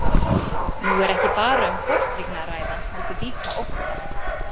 Nú er ekki bara um tortryggni að ræða heldur líka ótta.